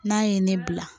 N'a ye ne bila